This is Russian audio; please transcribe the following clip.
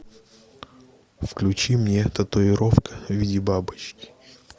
включи мне татуировка в виде бабочки